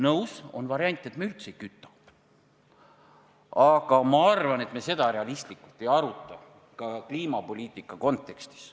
Nõus, on variant, et me üldse ei küta, aga ilmselt me seda realistlikult ei aruta, ka kliimapoliitika kontekstis.